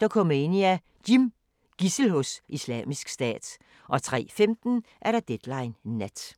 Dokumania: Jim - Gidsel hos Islamisk Stat 03:15: Deadline Nat